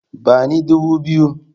Bani dubu biyu!